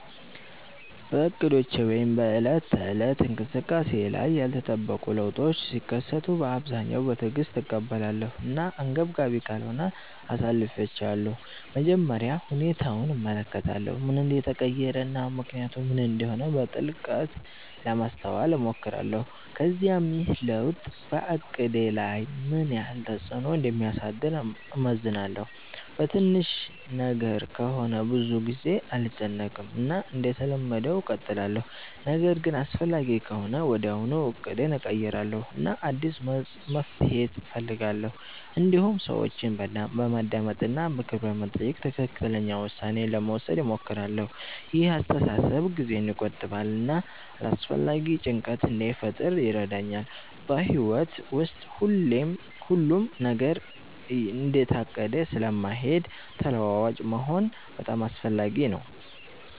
በእቅዶቼ ወይም በዕለት ተዕለት እንቅስቃሴዬ ላይ ያልተጠበቁ ለውጦች ሲከሰቱ በአብዛኛው በትዕግስት እቀበላለሁ እና አንገብጋቢ ካልሆነ አሳልፊቻለሁ መጀመሪያ ሁኔታውን እመለከታለሁ ምን እንደተቀየረ እና ምክንያቱ ምን እንደሆነ በጥልቀት ለማስተዋል እሞክራለሁ ከዚያም ይህ ለውጥ በእቅዴ ላይ ምን ያህል ተፅዕኖ እንደሚያሳድር እመዝናለሁ በትንሽ ነገር ከሆነ ብዙ ጊዜ አልጨነቅም እና እንደተለመደው እቀጥላለሁ ነገር ግን አስፈላጊ ከሆነ ወዲያውኑ እቅዴን እቀይራለሁ እና አዲስ መፍትሔ እፈልጋለሁ እንዲሁም ሰዎችን በማዳመጥ እና ምክር በመጠየቅ ትክክለኛ ውሳኔ ለመውሰድ እሞክራለሁ ይህ አስተሳሰብ ጊዜን ይቆጥባል እና አላስፈላጊ ጭንቀት እንዳይፈጥር ይረዳኛል በሕይወት ውስጥ ሁሉም ነገር እንደታቀደ ስለማይሄድ ተለዋዋጭ መሆን በጣም አስፈላጊ ነው